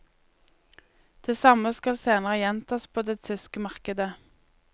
Det samme skal senere gjentas på det tyske markedet.